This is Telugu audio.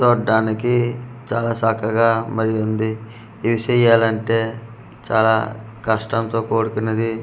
చూడ్డానికి చాల చక్కగా మళ్ళిది ఈడీసెయ్యాలంటే చాల కష్టంతో కూడుకున్నది .]